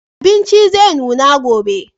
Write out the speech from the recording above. Abincin zai nuna gobe.